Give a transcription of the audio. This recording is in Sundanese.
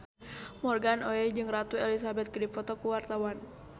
Morgan Oey jeung Ratu Elizabeth keur dipoto ku wartawan